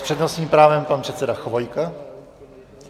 S přednostním právem pan předseda Chvojka.